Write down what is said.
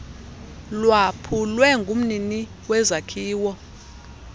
lwaphulwe ngumnini wezakhiwo